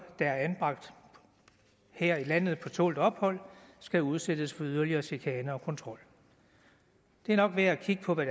der er anbragt her i landet på tålt ophold skal udsættes for yderligere chikane og kontrol det er nok værd at kigge på hvad